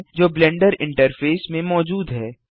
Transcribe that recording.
जो blender interface में मौजूद हैं